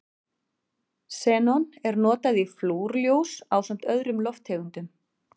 Xenon er notað í flúrljós ásamt öðrum lofttegundum.